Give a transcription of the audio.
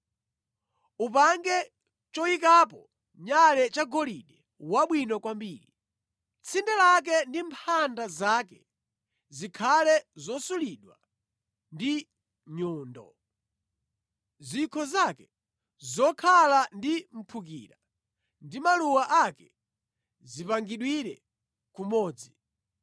“Upange choyikapo nyale chagolide wabwino kwambiri. Tsinde lake ndi mphanda zake zikhale zosulidwa ndi nyundo. Zikho zake zokhala ndi mphukira ndi maluwa ake zipangidwire kumodzi.